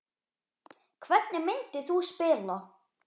Hvernig myndir þú spila?